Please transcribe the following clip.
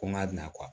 Ko n ka bin na